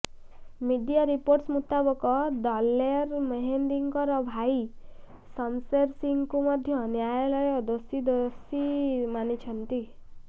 media reports ମୁତାବକ ଦଲେର ମେହେନ୍ଦିଙ୍କର ଭାଇ ଶମଶେର ସିଂହଙ୍କୁ ମଧ୍ୟ ନ୍ୟାୟାଳୟ ଦୋଷୀ ଦୋଷୀ ମାନିଛନ୍ତି